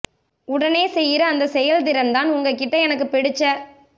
உடனே செய்யிற அந்தச் செயல் திறன்தான் உங்ககிட்ட எனக்குப் புடிச்ச